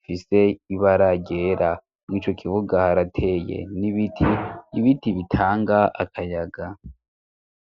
mfise ibaragera mu'ico kivuga harateye n'ibiti ibiti bitanga akayaga.